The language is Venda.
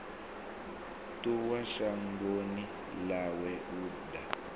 ṱuwa shangoni ḽawe u ḓa